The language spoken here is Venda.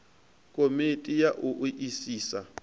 komiti ya u o isisa